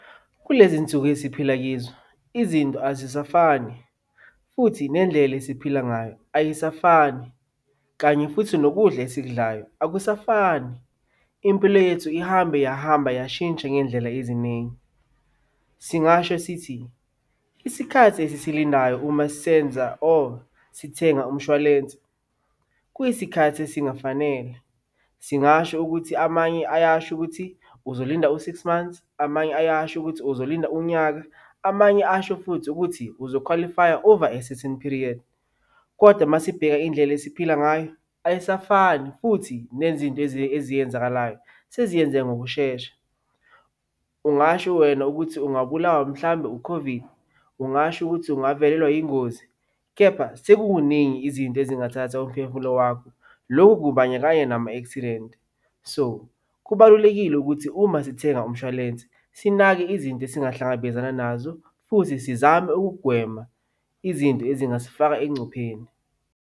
Kulezi nsuku esiphila kizo, izinto azisafani futhi nendlela esiphila ngayo ayisafani, kanye futhi nokudla esikudlayo akusafani. Impilo yethu ihambe yahamba yashintsha ngey'ndlela eziningi. Singasho sithi isikhathi esisilindayo uma senza or sithenga umshwalense kuyisikhathi esingafanele. Singasho ukuthi amanye ayasho ukuthi uzolinda u-six months, amanye ayasho ukuthi uzolinda unyaka, amanye asho futhi ukuthi uzokhwalifaya over a certain period, kodwa uma sibheka indlela esiphila ngayo ayisafani, futhi nezinto eziyenzakalayo seziyenzeka ngokushesha. Ungasho wena ukuthi ungabulawa mhlawumbe u-COVID. Ungasho ukuthi ungavelelwa yingozi, kepha sekukuningi izinto ezingathatha umphemfulo wakho. Lokhu kubandakanya nama-accident. So, kubalulekile ukuthi uma sithenga umshwalensi sinake izinto esingahlangabezana nazo futhi sizame ukugwema izinto ezingasifaka engcupheni.